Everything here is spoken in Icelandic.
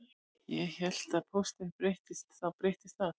Ég hélt að ef pósturinn breyttist þá breyttist allt